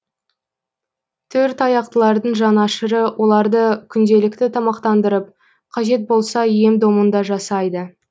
төрт аяқтылардың жанашыры оларды күнделікті тамақтандырып қажет болса ем домын да жасайды